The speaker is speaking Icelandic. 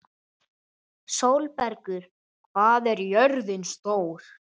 Sestu hérna og láttu fara vel um þig!